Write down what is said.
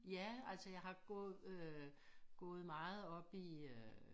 Ja altså jeg har gået øh gået meget oppe i øh